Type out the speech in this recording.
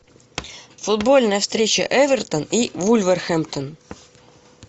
футбольная встреча эвертон и вулверхэмптон